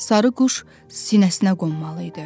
Sarı quş sinəsinə qonmalı idi.